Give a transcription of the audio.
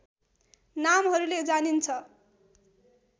नामहरूले जानिन्छ